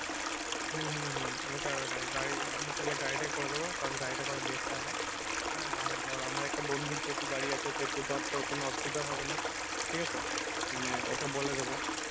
হম হম হম ওটাই ওটাই গাড়ি আমি তাহলে গাড়িটাই করে দেবো কারণ গাড়িটা করা best হবে। হ্যাঁ আর ধর আমার একটা বন্ধুর যেহেতু গাড়ি আছে সেহেতু ধর তোর কোনো অসুবিধা হবে না ঠিক আছে মানে ওকে বলে দেবো